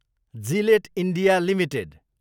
Gillette India Ltd